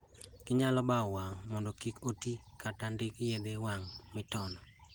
Ginyalo bao wang' mondo kik otii kata ndiki yedhe wang' mitono